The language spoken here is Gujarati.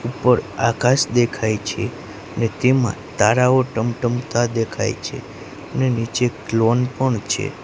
ઉપર આકાશ દેખાય છે ને તેમાં તારાઓ ટમટમતા દેખાય છે ને નીચે ક્લોન પણ છે.